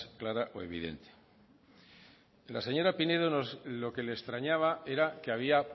clara o evidente a señora pinedo lo que le extrañaba era que había